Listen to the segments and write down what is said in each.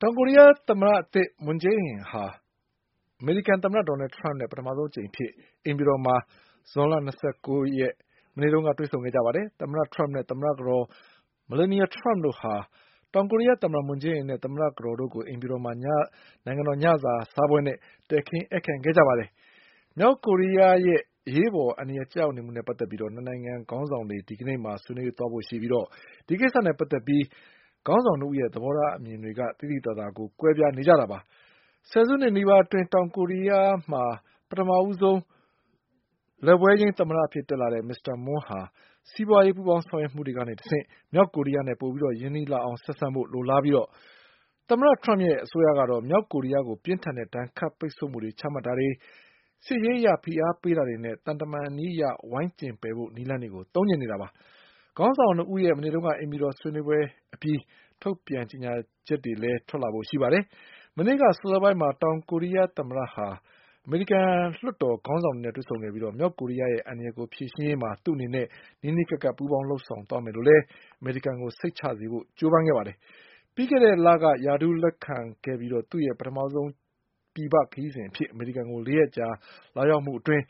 တောင်ကိုရီးယား သမ္မတသစ် Moon Jae-in ဟာ အမေရိကန်သမ္မတ ဒေါ်နလ်ထရမ့်နဲ့ ပထမဆုံးအကြိမ်အဖြစ် အိမ်ဖြူတော်မှာ ဇွန်လ၂၉ရက် မနေ့က တွေ့ဆုံခဲ့ကြပါတယ်။ သမ္မတထရမ့်နဲ့ သမ္မတကတော် Melania Trump တို့ဟာ တောင်ကိုရီးယားသမ္မတ မွန်းဂျေးအင်နဲ့ သမ္မတကတော်တို့ကို အိမ်ဖြူတော်မှာ နိုင်ငံတော် ညစာစားပွဲနဲ့ တည်ခင်း ဧည့်ခံ ခဲ့ကြပါတယ်။ မြောက်ကိုရီးယားရဲ့ အရေးပေါ်အန္တရာယ် ကျရောက်မှုနဲ့ ပတ်သက်ပြီး နှစ်နိုင်ငံ ခေါင်းဆောင်တွေ ဒီကနေ့မှာ ဆွေးနွေးဖို့ရှိပြီး ဒီကိစ္စနဲ့ ပတ်သက်လို့ ခေါင်းဆောင်နှစ်ဦးရဲ့ သဘောထားအမြင်တွေ သိသိသာသာကွဲပြား နေကြတာပါ။ ဆယ်နှစ်နီးပါးအတွင်း တောင်ကိုရီးယားရဲ့ ပထဦးဆုံး လက်ဝဲယိမ်း သမ္မတဖြစ်တဲ့ မစ္စတာမွန်းက စီးပွါးရေး ပူးပေါင်းဆောင်ရွက်မှုကတဆင့် မြောက်ကိုရီးယားနဲ့ ပိုပြီး ရင်းနှီးလာအောင် ဆက်ဆံဖို့ လိုလားပြီး သမ္မတထရမ့်ရဲ့ အစိုးရကတော့ မြောက်ကိုရီးယားကို ပြင်းထန်တဲ့ ဒဏ်ခတ်ပိတ်ဆို့မှုတွေ ချမှတ်တာတွေ၊ စစ်ရေးအရ ဖိအားပေးတာတွေနဲ့ သံတမန်နည်းအရ ဝိုင်းကျဉ်ပယ်ဖို့ နည်းတွေကို သုံးချင်နေတာပါ။ ခေါင်းဆောင်နှစ်ဦးရဲ့ မနေ့က အိမ်ဖြူတော် ဆွေနွေးမှုအပြီး ထုတ်ပြန်ချက်တွေကို ကြေညာဖို့ ရှိပါတယ်။ မနေ့က စောစောပိုင်းမှာ တောင်ကိုရီးယား သမ္မတဟာ အမေရိကန် လွှတ်တော်ခေါင်းဆောင်တွေနဲ့ တွေ့ဆုံခဲ့ပြီး မြောက်ကိုရီးယားရဲ့ အန္တရာယ်ကို ဖြေရှင်းရေးမှာ သူ့အနေနဲ့ နီးနီးကပ်ကပ်ပူးပေါင်းဆောင်ရွက်သွားမယ်လို့ အမေရိကန်ကို စိတ်ချစေဖို့ကြိုးပမ်းခဲ့ပါတယ် ပြီးခဲ့တဲ့လက ရာထူးလက်ခံခဲ့ပြီး သူ့ရဲ့ ပထမဆုံးပြည်ပ ခရီးစဉ်အဖြစ် အမေရိကန်ကို ၄ရက်ကြာ လာရောက်မှုအတွင်း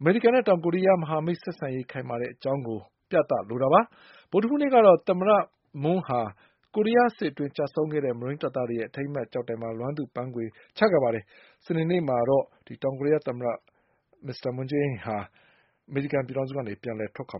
အမေရိကန်နဲ့ တောင်ကိုရီးယား မဟာမိတ် ဆက်ဆံရေးခိုင်မာတဲ့ အကြောင်းပြသလိုတာပါ။ ဗုဒ္ဓဟူးနေ့ကတော့ သမ္မတ မွန်းက ကိုရီးယား စစ်အတွင်းကျဆုံးခဲ့တဲ့ မရိမ်း တပ်သားတွေရဲ့ အထိမ်းအမှတ် ကျောက်တိုင်မှာ လွမ်းသူ့ပန်းခွေချခဲ့ပါတယ်။ စနေနေ့မှာတော့ တောင်ကိုရီးယား သမ္မတ အမေရိကန်ကနေ ပြန်လည်ထွက်ခွ